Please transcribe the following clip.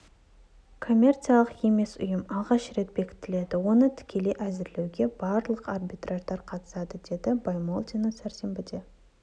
коммерциялық емес ұйым алғаш рет бекітіледі оны тікелей әзірлеуге барлық арбитраждар қатысады деді баймолдина сәрсенбіде